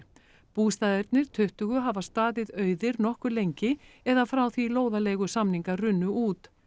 bústaðirnir tuttugu hafa staðið auðir nokkuð lengi eða frá því lóðaleigusamningar runnu út